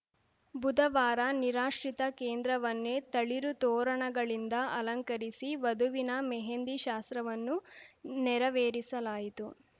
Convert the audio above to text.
ಬುಧವಾರ ನಿರಾಶ್ರಿತ ಕೇಂದ್ರವನ್ನೇ ತಳಿರು ತೋರಣಗಳಿಂದ ಅಲಂಕರಿಸಿ ವಧುವಿನ ಮೆಹಂದಿ ಶಾಸ್ತ್ರವನ್ನು ನೆರವೇರಿಸಲಾಯಿತು